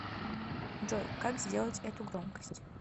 джой как сделать эту громкость